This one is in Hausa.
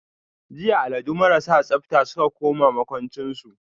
jiya alladu marasa tsabta suka koma makwanchin su.